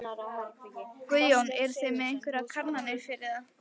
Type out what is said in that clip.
Guðjón: Eruð þið með einhverjar kannanir fyrir það?